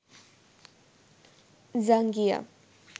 জাঙ্গিয়া